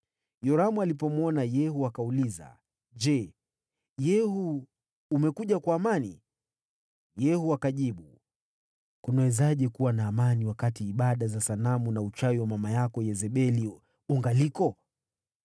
Yoramu alipomwona Yehu akauliza, “Je, Yehu, umekuja kwa amani?” Yehu akajibu, “Kunawezaje kuwa na amani wakati ibada za sanamu na uchawi wa mama yako Yezebeli ungaliko?”